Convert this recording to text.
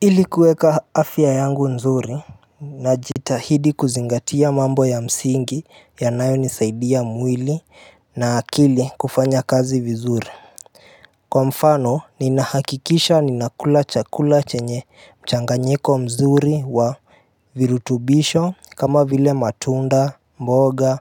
Ili kuweka afya yangu nzuri najitahidi kuzingatia mambo ya msingi yanayonisaidia mwili na akili kufanya kazi vizuri kwa mfano ninahakikisha ninakula chakula chenye mchanganyiko mzuri wa virutubisho kama vile matunda mboga